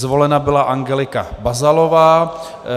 Zvolena byla Angelika Bazalová.